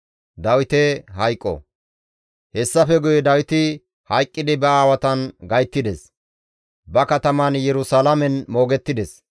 Hessafe guye Dawiti hayqqidi ba aawatan gayttides; ba kataman Yerusalaamen moogettides.